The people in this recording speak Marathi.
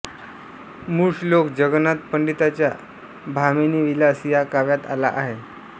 मूळ श्लोक जगन्नाथ पंडिताच्या भामिनीविलास या काव्यात आला आहे